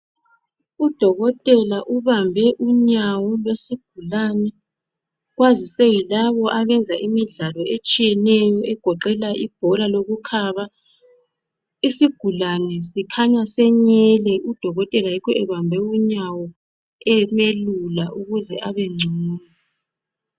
Udokotela ubambe unyawo lwesigulane. Kwazise yilabo abenza imidlalo etshiyeneyo egoqela ibhola lokukhaba. Isigulane sikhanya senyele udokotela yikho ebambe unyawo emelula ukuze abengcono.